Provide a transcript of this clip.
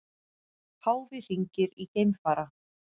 Páfi hringir í geimfara